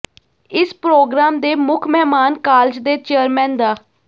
ਇਸ ਪ੍ਰੋਗਰਾਮ ਦੇ ਮੁੱਖ ਮਹਿਮਾਨ ਕਾਲਜ ਦੇ ਚੇਅਰਮੈਨ ਡਾ